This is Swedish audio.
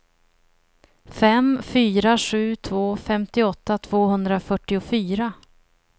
fem fyra sju två femtioåtta tvåhundrafyrtiofyra